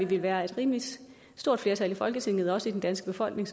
ville være et rimelig stort flertal i folketinget og også i den danske befolkning